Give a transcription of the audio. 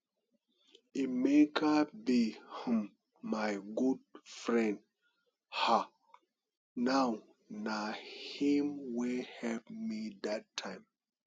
emeka be um my good friend um now na him wey help me dat time